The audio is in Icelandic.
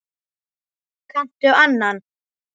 Kanntu annan?